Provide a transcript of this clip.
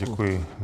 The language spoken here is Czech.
Děkuji.